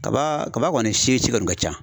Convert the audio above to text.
Kaba kaba kɔni si si kɔni ka ca .